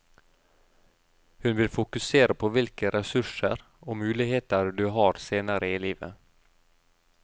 Hun vil fokusere på hvilke ressurser og muligheter du har senere i livet.